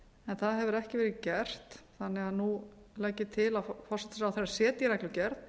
en það hefur ekki verið gert þannig að nú legg ég til að forsætisráðherra setji reglugerð